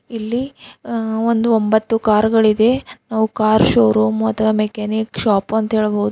ಇಲ್ಲಿ ಅ-ಒಂದು ಒಂಬತ್ತು ಕಾರು ಗಳಿದೆ ನಾವು ಕಾರ್ ಷೋರೂಮ್ ಅಥವಾ ಮೆಕ್ಯಾನಿಕ್ ಶಾಪ್ ಅಂತ ಹೇಳಬಹುದು ಆದೆ --